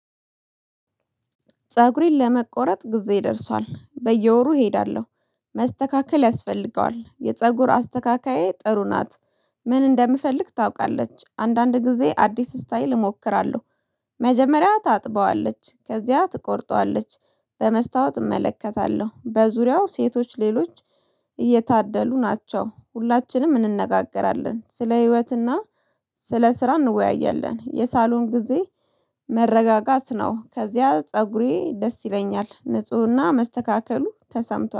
ፀጉሬን ለመቆረጥ ጊዜ ደርሷል በየወሩ እሄዳለሁ መስተካከል ያስፈልገዋል የፀጉር አስተካካዬ ጥሩ ናት። ምን እንደምፈልግ ታውቃለች አንዳንድ ጊዜ አዲስ ስታይል እሞክራለሁ። መጀመሪያ ታጥበዋለች ከዚያ ትቆርጠዋለች። በመስታወት እመለከታለሁ በዙሪያው ሴቶች ሌሎች እየታደሉ ናቸው ሁላችንም እንነጋገራለን ስለ ህይወትና። ስለ ስራ እንወያያለን የሳሎን ጊዜ መረጋጋት ነው። ከዚያ ፀጉሬ ደስ ይለኛል ንፁህና መስተካከሉ ተሰምቷል